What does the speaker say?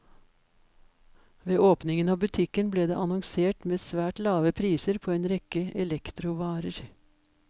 Ved åpningen av butikken ble det annonsert med svært lave priser på en rekke elektrovarer.